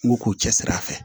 N k'u k'u cɛsiri a fɛ